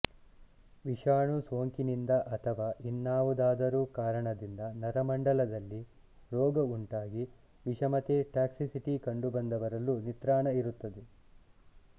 ವಿಷಾಣು ಸೋಂಕಿನಿಂದ ಅಥವಾ ಇನ್ನಾವುದಾದರೂ ಕಾರಣದಿಂದ ನರಮಂಡಲದಲ್ಲಿ ರೋಗ ಉಂಟಾಗಿ ವಿಷಮತೆ ಟಾಕ್ಸಿಸಿಟಿ ಕಂಡುಬಂದವರಲ್ಲೂ ನಿತ್ರಾಣ ಇರುತ್ತದೆ